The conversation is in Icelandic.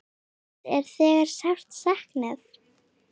Hans er þegar sárt saknað.